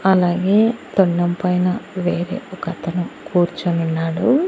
అలాగే తొండం పైన వేరే ఒకతను కూర్చునున్నాడు.